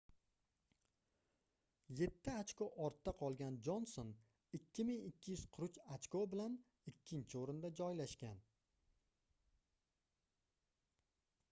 yetti ochko ortda qolgan jonson 2243 ochko bilan ikkinchi oʻrinda joylashgan